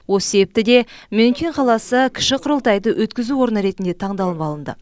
осы себепті де мюнхен қаласы кіші құрылтайды өткізу орны ретінде таңдалып алынды